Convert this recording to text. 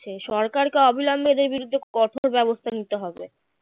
সে সরকারকে অবিলম্বে এঁদের বিরুদ্ধে কঠোর ব্যবস্থা নিতে হবে